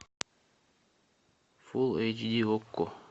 фулл эйч ди окко